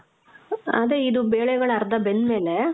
ಅದೇ, ಇದು ಬೇಳೆಗಳ್ ಅರ್ಧ ಬೆಂದ್ ಮೇಲೆ,